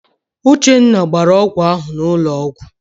Uchenna gbara ọgwụ ahụ n'ụlọ ọgwụ.